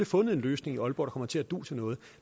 fundet en løsning i aalborg der kommer til at du til noget